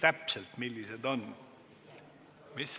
Mis?